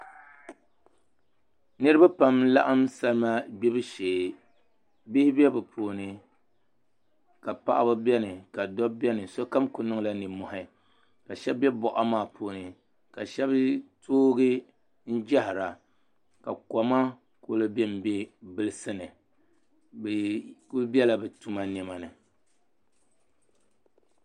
Niraba pam n laɣam salima gbibu shee bihi bɛ bi puuni ka paɣaba biɛni ka dabba biɛni sokam ku niŋla nimmohi ka shab bɛ boɣa maa puuni ka shab toogi n jahara ka koma ku bɛnbɛ bilisi ni bi kuli biɛla bi tuma niɛma ni